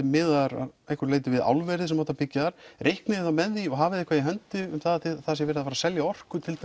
miðaðar að einhverju leyti við álverið sem átti að byggja þar reiknið þið þá með því og hafið þið eitthvað í hendi um að það sé verið að fara að selja orku til